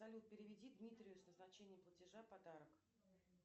салют переведи дмитрию с назначением платежа подарок